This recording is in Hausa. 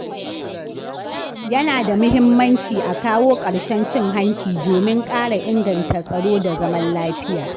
Yana da mahimmanci a kawo ƙarshen cin hanci domin ƙara inganta tsaro da zaman lafiya.